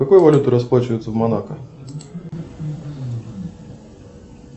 какой валютой расплачиваются в монако